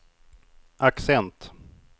accent